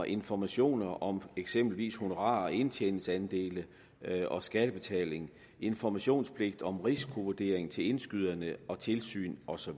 information om eksempelvis honorarer indtjeningsandele skattebetaling informationspligt om risikovurdering til indskyderne og tilsyn osv og